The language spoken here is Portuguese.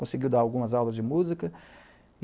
Conseguiu dar algumas aulas de música.